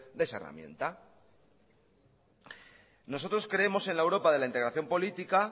de esa herramienta nosotros creemos en la europa de la integración política